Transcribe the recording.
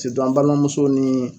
an balimamusow ni